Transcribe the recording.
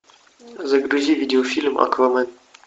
загрузи видеофильм аквамен